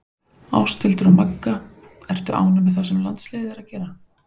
Ásthildur og Magga Ertu ánægð með það sem landsliðið er að gera?